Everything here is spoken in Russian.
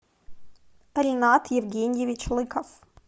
ренат евгеньевич лыков